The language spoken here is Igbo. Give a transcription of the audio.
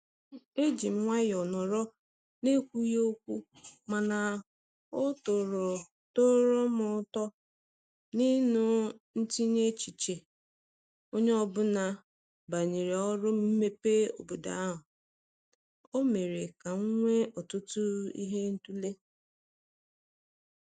E jị m nwayo nọrọ n'ekwughị okwu mana ọ tọrọ tọrọ m ụtọ ịnụ ntinye echiche onye ọbụla banyere oru mmepe obodo a. O mere ka m nwee ọtụtụ ihe ịtụle."